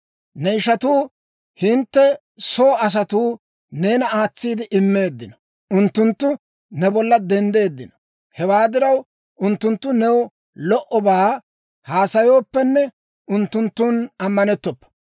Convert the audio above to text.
Ne ishatuu, hintte soo asatuu neena aatsiide immeeddino; unttunttu ne bolla denddeeddino. Hewaa diraw, unttunttu new lo"obaa haasayooppenne, unttunttun ammanettoppa.